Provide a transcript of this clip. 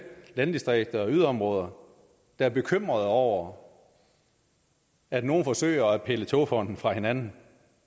landdistrikter og yderområder der er bekymrede over at nogle forsøger at pille togfonden dk fra hinanden